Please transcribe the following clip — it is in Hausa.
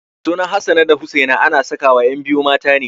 Sunan Hassana da Husaina ana sakawa ƴan biyu mata ne.